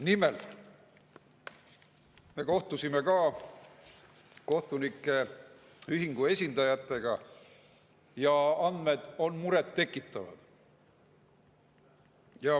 Nimelt, me kohtusime ka kohtunike ühingu esindajatega ja andmed on muret tekitavad.